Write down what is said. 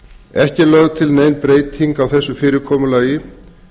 ekki er lögð til nein breyting á þessu fyrirkomulagi